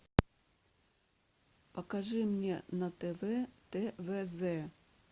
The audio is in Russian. покажи мне на тв твз